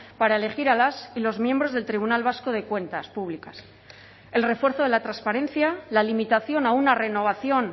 para elegir a las y los miembros del tribunal vasco de cuentas públicas el refuerzo de la transparencia la limitación a una renovación